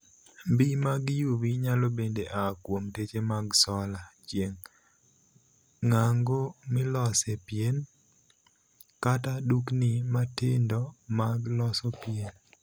Mbii mag 'UV' nyalo bende aa kuom teche mag sola (chieng'), ng'ango milose pien, kata dukni matindo mag loso pien.